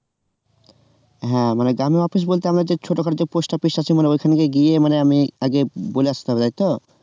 হ্যাঁ মানে গ্রামের office বলতে আমরা ছোটখাটো যে post office আছে মানে ওইখানে কি গিয়ে আমি আগে বলে আসতে হবে তাইতো?